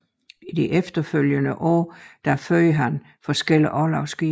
I de efterfølgende år førte han forskellige orlogsskibe